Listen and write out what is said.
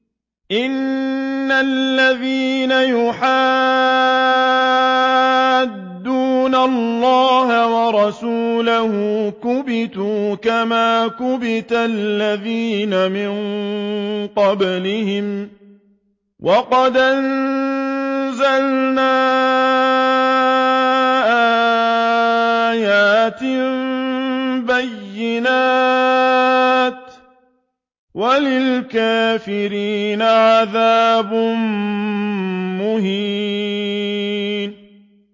إِنَّ الَّذِينَ يُحَادُّونَ اللَّهَ وَرَسُولَهُ كُبِتُوا كَمَا كُبِتَ الَّذِينَ مِن قَبْلِهِمْ ۚ وَقَدْ أَنزَلْنَا آيَاتٍ بَيِّنَاتٍ ۚ وَلِلْكَافِرِينَ عَذَابٌ مُّهِينٌ